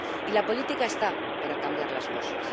Y la política está para cambiar las cosas.